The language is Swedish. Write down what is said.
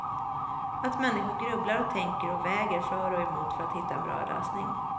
Att människor grubblar och tänker och väger för och emot för att hitta en bra lösning.